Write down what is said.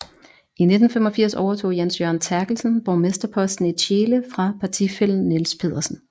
I 1985 overtog Jens Jørgen Therkelsen borgmesterposten i Tjele fra partifællen Niels Pedersen